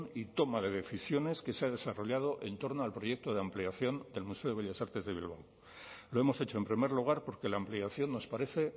y toma de decisiones que se ha desarrollado en torno al proyecto de ampliación del museo de bellas artes de bilbao lo hemos hecho en primer lugar porque la ampliación nos parece